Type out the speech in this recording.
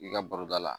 I ka baro da la